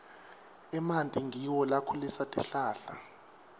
emanti ngiwo lakhulisa tihlahla